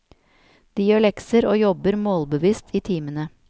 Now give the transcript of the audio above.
De gjør lekser og jobber målbevisst i timene.